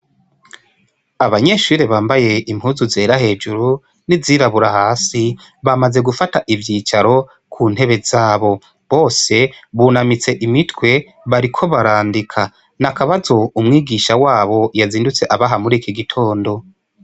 Abanyeshure bambaye impuzu zera hejuru n'izirabura hasi bamaze gufata ivyicaro ku ntebe zabo bose bunamitse imitwe bariko barandika n'akabazo umwigisha wabo yazindutse abaha muri iki gitondo.